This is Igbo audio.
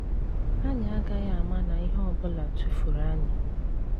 Anyị agaghị ama na ihe ọ bụla tụfuru anyị. '